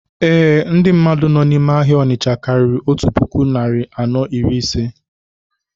Ee, mmadụ nọ n'ime ahịa Onitsha karịrị otu puku narị anọ iri Isii